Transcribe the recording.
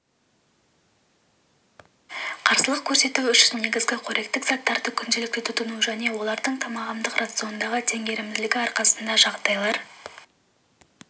қарсылық көрсету үшін негізгі қоректік заттарды күнделікті тұтыну және олардың тағамдық рациондағы теңгерімділігі арқасында жағдайлар